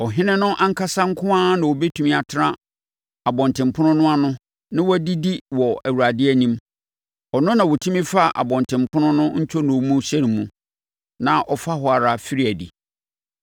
Ɔhene no ankasa nko ara na ɔbɛtumi atena abɔntenpono no ano na wadidi wɔ Awurade anim. Ɔno na ɔtumi fa abɔntenpono no ntwonoo mu hyɛne mu, na ɔfa hɔ ara firi adi.”